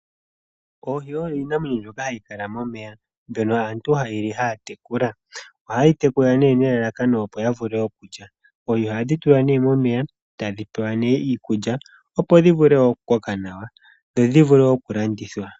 Oohi oyo iinamwenyo ndjoka ya kala momeya. Mbono aantu ha ye li haya tekula. Oha ye yi tekula ne nelalakano opo ya vule okulya. Oohi tulwa ne momeya tadhi pewa nenge iikulya opo dhi vule okukoka nawa dho dhi vule okulandithwa.